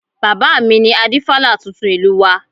Bàbá mi ni Adífálà tuntun ìlú wa